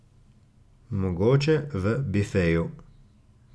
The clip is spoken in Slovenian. Mogoče v bifeju.